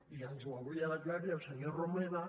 i ens ho hauria d’aclarir el senyor romeva